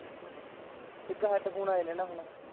ਇੱਕ headphone ਆਏ ਨੇ ਹੈਨਾ ਹੁਣ